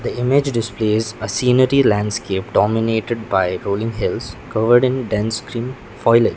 the image displays a scenery landscape dominated by rolling hills covered in dense green foilage.